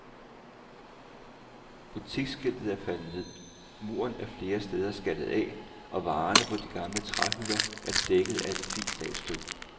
Butiksskiltet er faldet ned, muren er flere steder skaldet af, og varerne på de gamle træhylder er dækket af et fint lag støv.